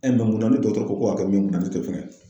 E munna ni dɔgɔtɔrɔw ko ka mun ye, munna ne t'o fɛn?